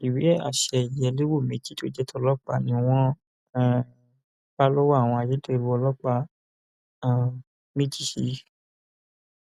ó ní àwọn máa fojú sunday balẹẹjọ lẹyìn táwọn bá ti parí ìwádìí àwọn nípa ohun tó ṣe yìí